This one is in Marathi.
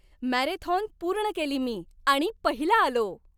मॅरेथॉन पूर्ण केली मी आणि पहिला आलो.